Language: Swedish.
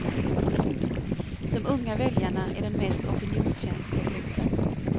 De unga väljarna är den mest opinionskänsliga gruppen.